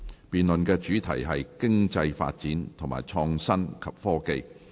辯論主題是"經濟發展和創新及科技"。